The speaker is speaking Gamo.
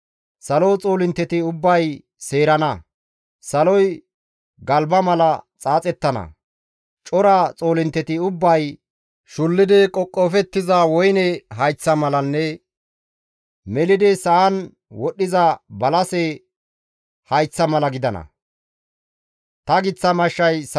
Salo xoolintteti ubbay seerana; saloy galba mala xaaxettana; cora xoolintteti ubbay, shullidi qoqofettiza woyne hayththa malanne melidi sa7an wodhiza balase hayththa mala gidana. Xaaththa maxaafa